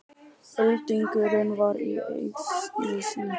Öldungurinn var í essinu sínu.